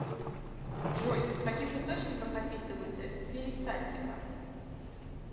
джой в каких источниках описывается перистальтика